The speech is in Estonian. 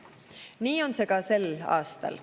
Nii on see ka sel aastal.